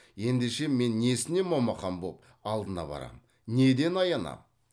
ендеше мен несіне момақан боп алдына барам неден аянам